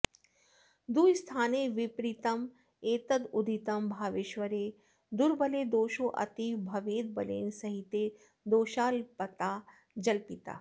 दुःस्थाने विपरीतमेतदुदितं भावेश्वरे दुर्बले दोषोऽतीव भवेद्बलेन सहिते दोषाल्पता जल्पिता